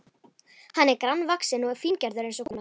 Hann var grannvaxinn og fíngerður eins og kona.